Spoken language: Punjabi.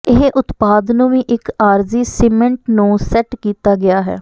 ਇਹ ਉਤਪਾਦ ਨੂੰ ਵੀ ਇੱਕ ਆਰਜ਼ੀ ਸੀਮਿੰਟ ਨੂੰ ਸੈੱਟ ਕੀਤਾ ਗਿਆ ਹੈ